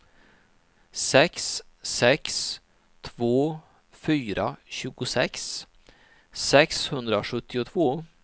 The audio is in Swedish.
sex sex två fyra tjugosex sexhundrasjuttiotvå